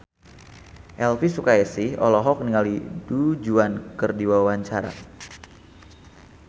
Elvy Sukaesih olohok ningali Du Juan keur diwawancara